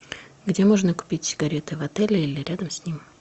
где можно купить сигареты в отеле или рядом с ним